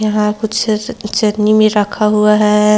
यहाँ कुछ चटनी में रखा हुआ है।